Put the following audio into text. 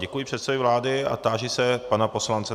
Děkuji předsedovi vlády a táži se pana poslance...